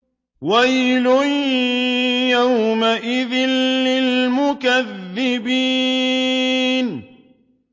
وَيْلٌ يَوْمَئِذٍ لِّلْمُكَذِّبِينَ